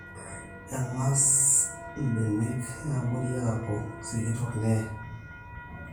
eng'asa mbenek yeeabori aaku sikitok neye